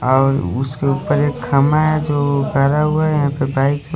और उसके ऊपर एक खंबा है जो खड़ा हुआ है यहापर बाइक --